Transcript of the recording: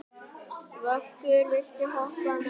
Vöggur, viltu hoppa með mér?